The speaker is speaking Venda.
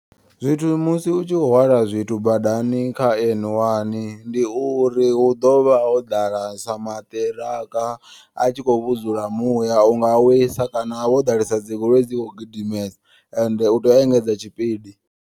Zwithu musi utshi hwala zwithu badani kha N one ndi uri hu ḓovha ho ḓala sa maṱiraka. A tshi kho vhudzula muya unga wisa kana ho ḓalesa dzigoloi dzi kho gidimesa ende utea u engedza tshipidi.